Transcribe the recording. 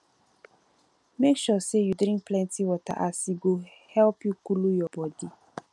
mek sure sey yu drink plenti water as e go help coolu yur bodi